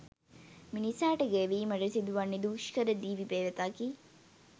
මිනිසාට ගෙවීමට සිදුවන්නේ දුෂ්කර දිවි පෙවෙතකි